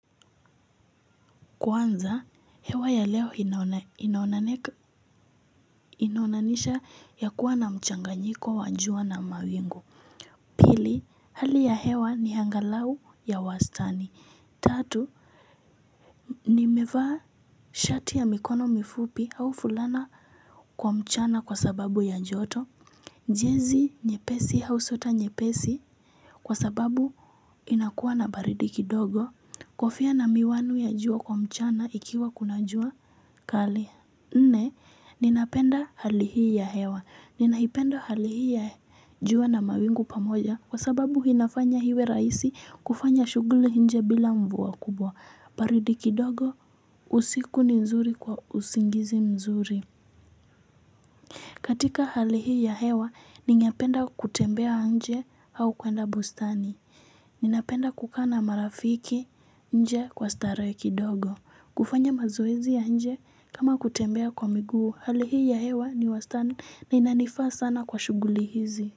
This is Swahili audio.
Kwanza, hewa ya leo inaonanisha ya kuwa na mchanganyiko wa jua na mawingu. Pili, hali ya hewa ni angalau ya wastani. Tatu, nimevaa shati ya mikono mifupi au fulana kwa mchana kwa sababu ya joto. Jezi nyepesi au sweta nyepesi kwa sababu inakuwa na baridi kidogo. Kofia na miwani ya jua kwa mchana ikiwa kuna jua kali. Nne, ninapenda hali hii ya hewa. Ninaipenda hali hii ya jua na mawingu pamoja kwa sababu inafanya iwe rahisi kufanya shughuli nje bila mvua kubwa. Baridi kidogo usiku ni nzuri kwa usingizi mzuri. Katika hali hii ya hewa, ninapenda kutembea nje au kuenda bustani. Ninapenda kukaa na marafiki nje kwa starehe kidogo. Kufanya mazoezi ya nje kama kutembea kwa miguu. Hali hii ya hewa ni wastani na inanifaa sana kwa shughuli hizi.